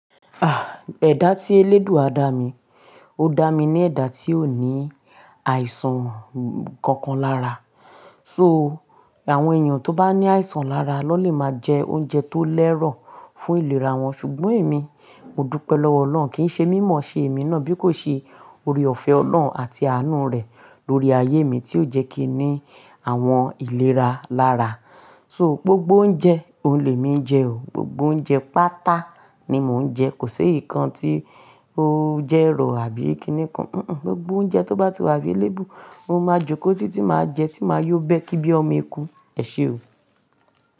Ah! Ẹ̀dá tí eléèdúá dá mi, ó dá mi ni ẹ̀dá tí ó ní àìsàn kankan lára. So àwọn èèyàn tó bá ní àìsàn lára lọ lè máa jẹ oúnjẹ tó lẹ́rọ̀ fún ìlera wọn. Ṣùgbọ́n èmi, mo dúpẹ́ lọ́wọ́ Ọlọ́run kí n ṣe mímọ̀ ṣe èmi náà bí kò ṣe oore-ọ̀fẹ́ Ọlọ́run àti àánú rẹ̀ lórí ayé mi tí ó jẹ́ kí i ní àwọn ìlera lára. So gbogbo oúnjẹ, òun lè mi jẹ o. Gbogbo oúnjẹ pátá ni mò ń jẹ. Kò ṣe éyi kan tí ó jẹ́ èrò àbí kíni kan. Mm-mm, gbogbo oúnjẹ tó bá ti wá available, mo máa jókòó títí máa jẹ tí máa yọ bẹ́ kí bí ọmọ eku. Ẹ̀ṣé o.